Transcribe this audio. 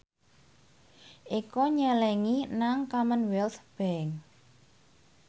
Eko nyelengi nang Commonwealth Bank